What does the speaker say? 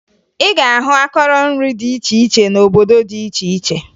Ị ga-ahụ akọrọ nri dị iche iche n'obodo dị iche iche